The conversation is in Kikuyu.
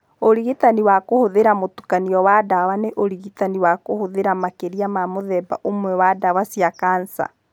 Ũrigitani wa kũhũthĩra mũtukanio wa ndawa nĩ ũrigitani wa kũhũthĩra makĩria ma mũthemba ũmwe wa ndawa cia kanca.